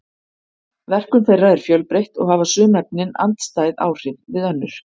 verkun þeirra er fjölbreytt og hafa sum efnin andstæð áhrif við önnur